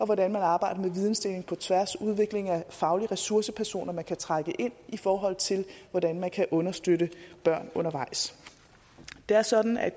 hvordan man arbejder med vidensdeling på tværs og udvikling af faglige ressourcepersoner man kan trække ind i forhold til hvordan man kan understøtte børn undervejs det er sådan at